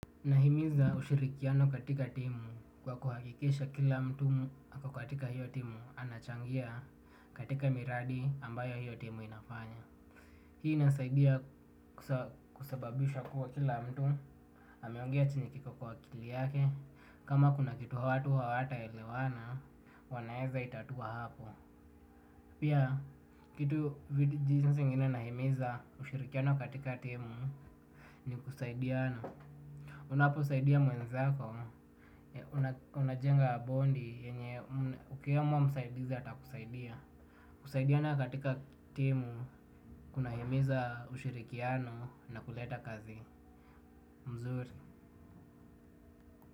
Nahimiza ushirikiano katika timu kwa kuhakikisha kila mtu ako katika hiyo timu anachangia katika miradi ambayo hiyo timu inafanya. Hii inasaidia kusababisha kuwa kila mtu ameongea chenye kiko kwa akili yake. Kama kuna kitu watu hawataelewana, wanaeza itatua hapo. Pia, kitu jinsi ingine nahimiza ushirikiano katika timu ni kusaidiana. Unaposaidia mwenzako, unajenga bondi yenye ukimwomba msaidizi atakusaidia. Kusaidiana katika timu kuna himiza ushirikiano na kuleta kazi mzuri.